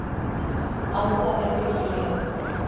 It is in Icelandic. Alda er bylgjuhreyfing.